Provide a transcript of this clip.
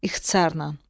İxtisarən.